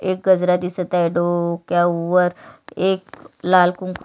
एक गजरा दिसत आहे डोक्या वर एक लाल कुंकू--